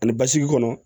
Ani basigi kɔnɔ